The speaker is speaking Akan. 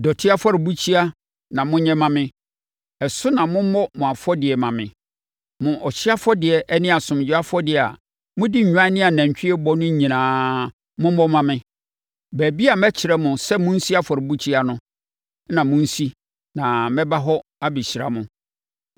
“ ‘Dɔteɛ afɔrebukyia na monyɛ mma me. Ɛso na mommɔ mo afɔdeɛ mma me. Mo ɔhyeɛ afɔdeɛ ne asomdwoeɛ afɔdeɛ a mode nnwan ne anantwie bɔ no nyinaa mommɔ mma me. Baabi a mɛkyerɛ mo sɛ monsi afɔrebukyia no na monsi na mɛba hɔ abɛhyira mo.